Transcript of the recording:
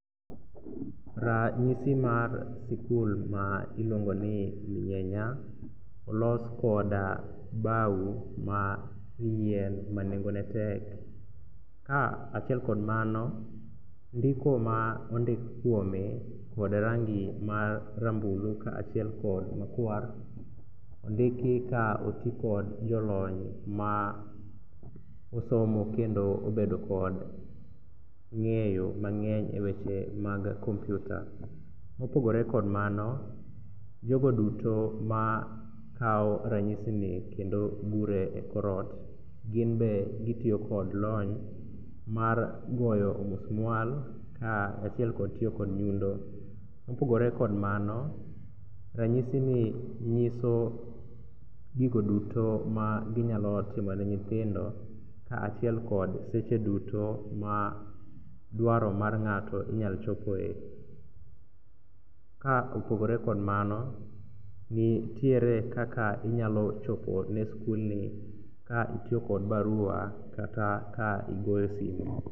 Ranyisi mar sikul ma iluongo ni Lunyenya olos kod bao ma yien ma nengone tek. Kaachiel kod mano, ndiko ma ondik kuome kod rangi marambulu kaachiel kod makwar ondiki ka otikod kod jolony ma osomo kendo obedo kod ng'eyo mang'eny e weche mag kompiuta. Mopogore kod mano, jogo duto makawo ranyisini kendo gure e kor ot ginbe gitiyo kod lony mar goyo omusmual kaachiel kod tiyo kod nyundo. Mopogore kod mano, ranyisini nyiso gigo duto maginyalo timone nyithindo kaachiel kod seche dutyo ma dwaro mar ng'ato inyalo chopoe. Ka opogore kod mano, nitiere kaka inyalo chopone skulni ka itiyo kod barua kata ka igoyo simu.